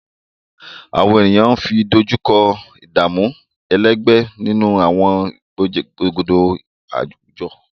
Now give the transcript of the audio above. Àwọn ènìyàn ń dojú kọ ìdààmú ẹlẹgbẹ́ nínú àwọn ìgbòkègbodò àwùjọ